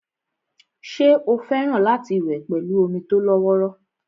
ṣé ó fẹ́ràn láti wẹ̀ pẹ̀lú omi tó lọ́wọ́rọ́